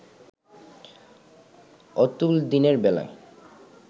অতুল দিনের বেলায়